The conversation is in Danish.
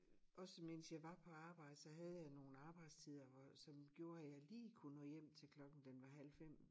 Også mens jeg var på arbejde så havde jeg nogen arbejdstider hvor som gjorde at jeg lige kunne nå hjem til klokken den var halv 5